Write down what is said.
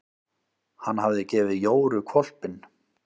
Hann hafði gefið Jóru hvolpinn.